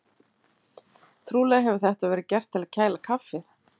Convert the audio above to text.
Trúlega hefur þetta verið gert til að kæla kaffið.